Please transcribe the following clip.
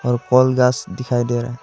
दिखाई दे रहा है।